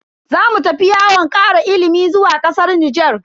Zamu tafi yawon kara ilimi zuwa kasar Nijar.